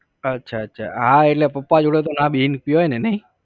અચ્છા અચ્છા હા એટલે પપ્પા જોડે તો ના બેસી ને પીવાય ને નઇ?